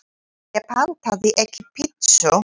Ég pantaði ekki pítsu